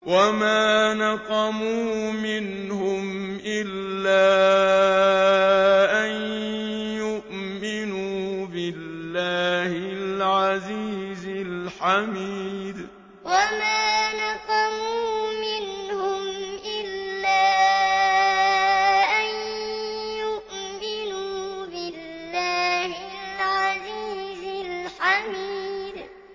وَمَا نَقَمُوا مِنْهُمْ إِلَّا أَن يُؤْمِنُوا بِاللَّهِ الْعَزِيزِ الْحَمِيدِ وَمَا نَقَمُوا مِنْهُمْ إِلَّا أَن يُؤْمِنُوا بِاللَّهِ الْعَزِيزِ الْحَمِيدِ